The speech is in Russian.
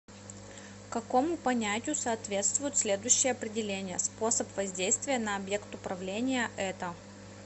какому понятию соответствует следующее определение способ воздействия на объект управления это